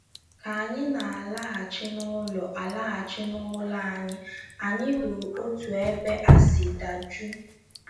Ka anyị na - alaghachi n’ụlọ - alaghachi n’ụlọ anyị, anyị hụrụ otú ebe a si daa juu.